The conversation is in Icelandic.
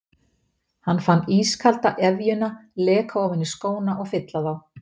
Hann fann ískalda efjuna leka ofan í skóna og fylla þá.